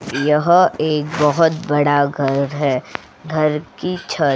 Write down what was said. यह एक बहुत बड़ा घर है घर की छत --